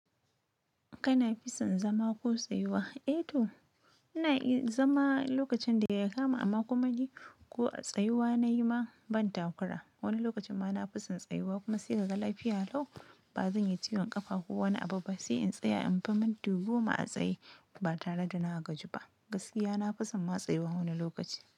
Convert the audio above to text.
Kana fison zama ko tsayuwa? Eh to ina iya zama lokacin da ya kama amma kuma ni ko a tsayuwa nayi ma ban takura. Wani lokacin ma na fison tsayuwa kuma sai kaga lafiya lau bazan yi ciwon kafa ko wani abu ba sai in tsaya in fi minti goma a tsaye ba tare da na gaji ba. Gaskiya na fison ma tsayuwa wani lokaci.